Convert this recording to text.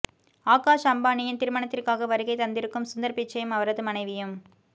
ஆகாஷ் அம்பானியின் திருமணத்திற்காக வருகை தந்திருக்கும் சுந்தர் பிச்சையும் அவரது மனைவியும்